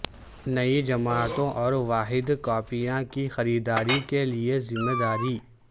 نئی جماعتوں اور واحد کاپیاں کی خریداری کے لئے ذمہ داری